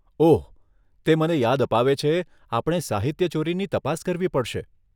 ઓહ! તે મને યાદ અપાવે છે, આપણે સાહિત્યચોરીની તપાસ કરવી પડશે.